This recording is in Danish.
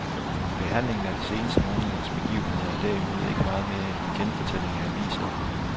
Behandlingen af de seneste måneders begivenheder er derimod ikke meget mere end en genfortælling af avisstoffet.